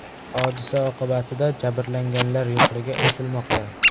Hodisa oqibatida jabrlanganlar yo‘qligi aytilmoqda.